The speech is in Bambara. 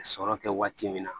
Sɔrɔ kɛ waati min na